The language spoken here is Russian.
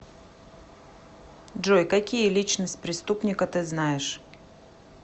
джой какие личность преступника ты знаешь